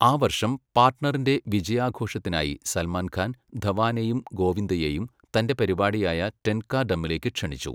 ആ വർഷം പാർട്ണറിന്റെ വിജയാഘോഷത്തിനായി സൽമാൻ ഖാൻ ധവാനെയും ഗോവിന്ദയെയും തൻ്റെ പരിപാടിയായ ടെൻ കാ ഡമ്മിലേക്ക് ക്ഷണിച്ചു.